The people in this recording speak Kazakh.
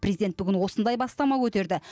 президент бүгін осындай бастама көтерді